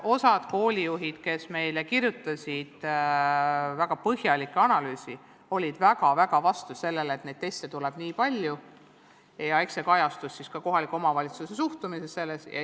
Osa koolijuhte, kes kirjutasid meile väga põhjaliku analüüsi, olid väga-väga vastu sellele, et neid teste tuleb nii palju, ja eks see kajastus ka kohaliku omavalitsuse suhtumises.